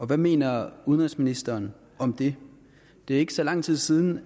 hvad mener udenrigsministeren om det det er ikke så lang tid siden